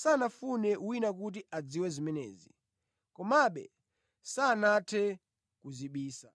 sanafune wina kuti adziwe zimenezi; komabe sanathe kudzibisa.